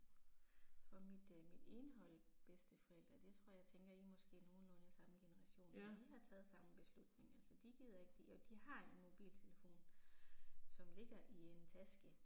Jeg tror mit øh mit ene hold bedsteforældre det tror jeg tænker I er måske nogenlunde samme generation de har taget samme beslutning altså de gider ikke jo de har en mobiltelefon, som ligger i en taske